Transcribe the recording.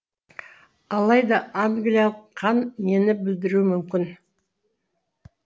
алайда англиялық қан нені білдіруі мүмкін